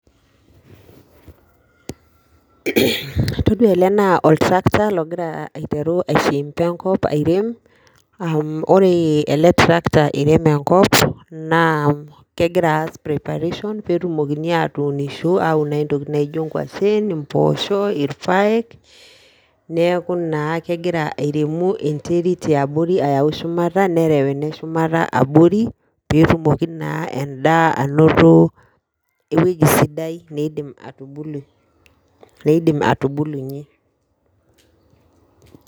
Todua ele naa oltrakta logira aiteru aishimba enkop airem, ore ele trakta iirem enkop naa kegira aas preparation peetumoki aatuniisho atuun naaji intokitin naijo enkuashen, imboosho, imboosho, ilpayek neeku naa kegira airemu enterit yaabori nereu eneshumata abori peetumoki naa endaa anoto ewoji sidai neidim atubulunyie.